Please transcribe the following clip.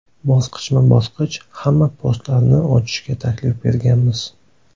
Bosqichma-bosqich hamma postlarni ochishga taklif berganmiz.